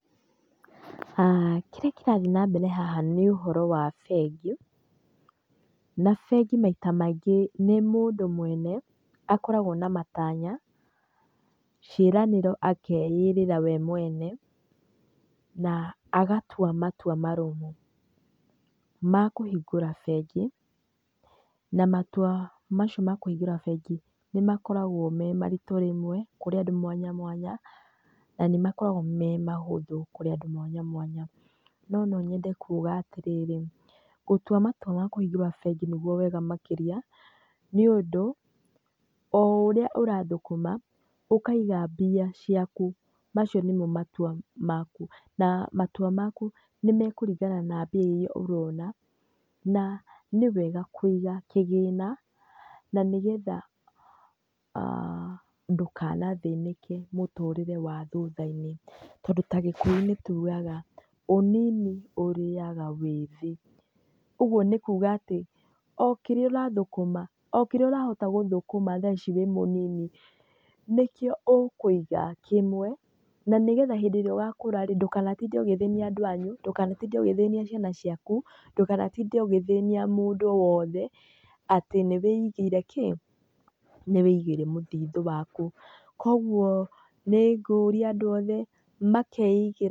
Kĩrĩa kĩrathiĩ nambere haha nĩ ũhoro wa bengi, na bengi maita maingĩ nĩ mũndũ mwene akoragwo na matanya, ciĩranĩro akeĩrĩra we mwene na agatua matua marũmu ma kũhingũra bengi, na matua macio ma kũhingũra bengi nĩ makoragwo me maritũ rĩmwe kũrĩ andũ mwanya mwanya, na nĩ makoragwo me mahũthũ kũrĩ andũ mwanya mwanya. No no nyende kuuga atĩrĩrĩ, gũtua matua ma kũhingũra bengi nĩguo wega makĩria nĩũndũ oo ũrĩa ũrathũkũma ũkaiga mbia ciaku, macio nĩmo matua maku na matua maku nĩ mekũringana na mbia irĩa ũrona na nĩwega kũiga kĩgĩna na nĩgetha ndũkanathĩnĩke mũtũrĩre wa thutha-inĩ. Tondũ ta gĩkũyũ nitugaga ũnini ũrĩaga wĩthĩ, ũguo nĩ kuuga atĩ oo kĩrĩa ũrathũkũma oo kĩrĩa ũrahota gũthũkũma thaa ici wĩĩ mũnini nĩkĩo ũkũiga kĩmwe na nĩgetha hĩndĩ ĩrĩa ũgakũra rĩĩ ndũkanatinde ũgĩthĩnia andũ anyu, ndũkanatinde ũgĩthĩnia ciana ciaku, ndũkanatinde ũgĩthĩnia mũndũ oo wothe atĩ nĩ wĩigĩire kĩĩ, nĩ wĩigĩire mũthithũ waku. Kwoguo nĩ ngũria andũ othe makeigĩra...